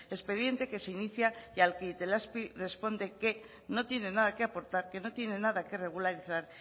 expediente que se inicia y al que itelazpi responde que no tiene nada que aportar que no tiene nada que regularizar